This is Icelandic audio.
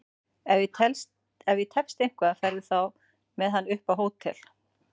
Ef ég tefst eitthvað farðu þá með hann upp á hótel!